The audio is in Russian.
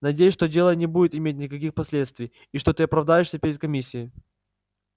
надеюсь что дело не будет иметь никаких последствий и что ты оправдаешься перед комиссией